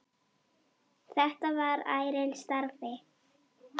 Þetta var ærinn starfi.